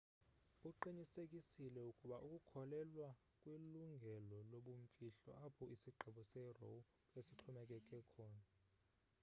uqinisekisile ukuba ukholelwa kwilungelo lobumfihlo apho isigqibo se-roe besixhomekeke khona